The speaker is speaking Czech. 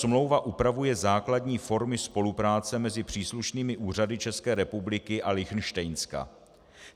Smlouva upravuje základní formy spolupráce mezi příslušnými úřady České republiky a Lichtenštejnska.